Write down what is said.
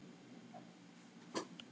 Þurft að afþakka veislur.